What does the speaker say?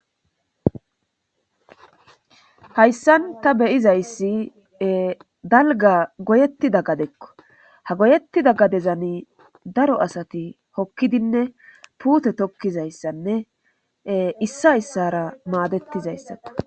Hayssan ta beyizayssi dalga goyetti da gadekko ha goyetti da gadezan daro asati hokkidinne puute tokkizayssanne issa issara maadettizayssata